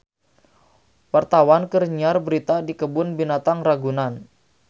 Wartawan keur nyiar berita di Kebun Binatang Ragunan